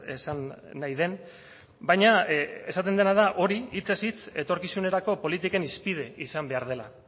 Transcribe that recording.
esan nahi den baina esaten dena da hori hitzez hitz etorkizunerako politiken hizpide izan behar dela